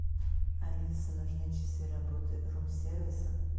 алиса нужны часы работы рум сервиса